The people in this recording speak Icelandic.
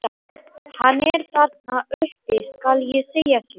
Hann er þarna uppi, skal ég segja þér.